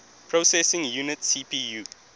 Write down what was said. processing unit cpu